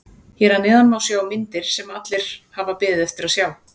Hér að neðan má sjá myndir sem allir hafa beðið eftir að sjá.